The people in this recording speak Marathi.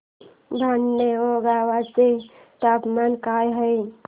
भटाणे गावाचे तापमान काय आहे